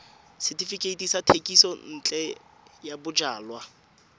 setefikeiti sa thekisontle ya bojalwa